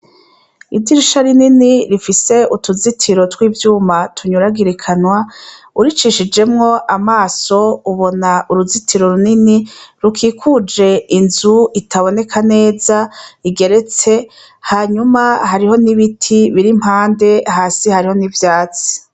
Idyirisha rinini rifise utuzitiro tw'ivyuma tunyuragirikanwa uricishijemwo amaso ubona uruzitiro runini rukikuje inzu itaboneka neza igeretse hanyuma hariho n'ibiti biriimpande hasi hariho n'ivyatsi.